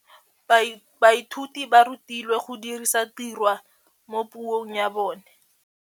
Baithuti ba rutilwe go dirisa tirwa mo puong ya bone.